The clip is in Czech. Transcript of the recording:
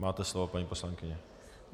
Máte slovo, paní poslankyně.